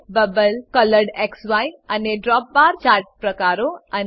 bubble કોલોરેડક્સી અને drop bar chart પ્રકારો અને 4